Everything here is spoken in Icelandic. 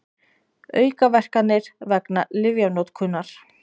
Aukaverkanir vegna lyfjanotkunar.